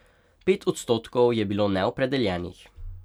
Pet odstotkov je bilo neopredeljenih.